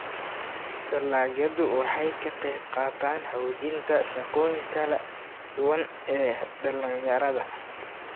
dalagyadu waxay ka qayb qaataan xoojinta shaqooyinka kala duwan ee dhalinyarada.